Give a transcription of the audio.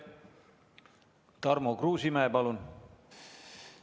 Tarmo Kruusimäe, palun!